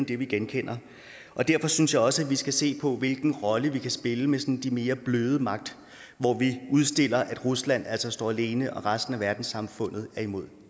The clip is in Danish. det vi genkender og derfor synes jeg også at vi skal se på hvilken rolle vi kan spille med den sådan mere bløde magt hvor vi udstiller at rusland altså står alene og at resten af verdenssamfundet er imod